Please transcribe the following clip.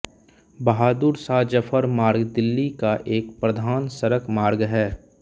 बहादुरशाह ज़फर मार्ग दिल्ली का एक प्रधान सड़क मार्ग है